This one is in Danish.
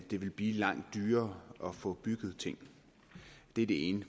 det vil blive langt dyrere at få bygget ting det er det ene